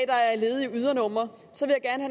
er et ledigt ydernummer